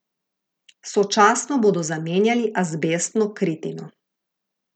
Sočasno bodo zamenjali azbestno kritino.